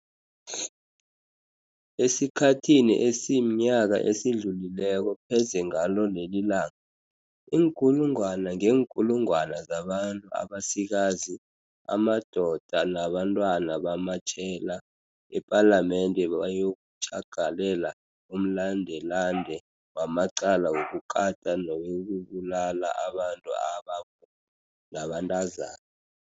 Esikhathini esimnyaka esidlulileko, pheze ngalo lelilanga, iinkulungwana ngeenkulungwana zabantu abasikazi, amadoda nabantwana bamatjhela ePalamende bayokutjhagalela umlandelande wamacala wokukata newokubulala abantu ababomma nabantazana.